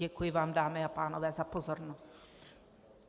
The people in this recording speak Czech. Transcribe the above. Děkuji vám, dámy a pánové, za pozornost.